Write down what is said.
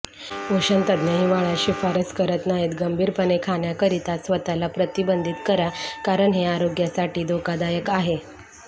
पोषणतज्ज्ञ हिवाळ्यात शिफारस करत नाहीत गंभीरपणे खाण्याकरिता स्वतःला प्रतिबंधित करा कारण हे आरोग्यासाठी धोकादायक आहे